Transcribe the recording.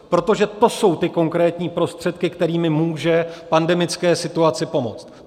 Protože to jsou ty konkrétní prostředky, kterými může pandemické situaci pomoct.